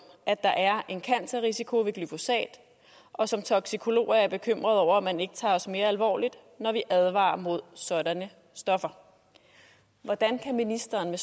at der er en cancerrisiko ved glyphosat og som toksikolog er jeg bekymret over at man ikke tager os mere alvorligt når vi advarer mod sådanne stoffer hvordan kan ministeren